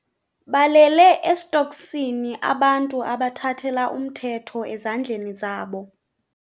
Balele estoksini abantu abathathele umthetho ezandleni zabo.